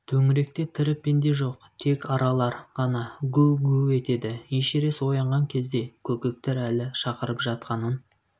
төңіректе тірі пенде жоқ тек аралар ғана гу-гу етеді эшерест оянған кезде көкектер әлі шақырып жатқанын